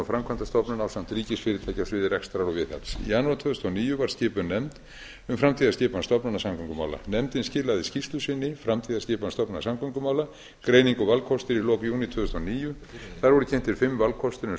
framkvæmdastofnun ásamt ríkisfyrirtæki á sviði rekstrar og viðhalds í janúar tvö þúsund og níu var skipuð nefnd um framtíðarskipan stofnana samgöngumála nefndin skilaði skýrslu sinni framtíðarskipan stofnana samgöngumála greining og valkostir í lok júní tvö þúsund og níu þar voru kynntir fimm valkostir um